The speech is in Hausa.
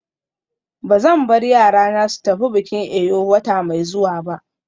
Ba zan bar yarana su tafi bikin Eyo wata mai zuwa ba.